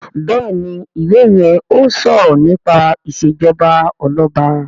Béèni iwè yén o sọrọ nípa ìṣèjọba Ọlọba.